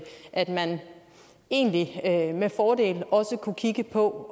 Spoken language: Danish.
at man egentlig med fordel også kunne kigge på